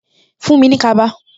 Fuhn mi ní kaba